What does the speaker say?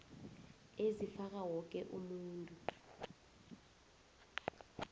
ezifaka woke umuntu